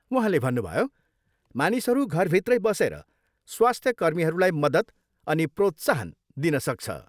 उहाँले भन्नुभयो, मानिसहरू घरभित्रै बसेर स्वास्थ्य कर्मीहरूलाई मद्दत अनि प्रोत्साहन दिन सक्छ।